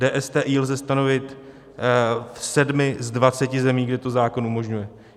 DSTI lze stanovit v 7 z 20 zemí, kde to zákon umožňuje.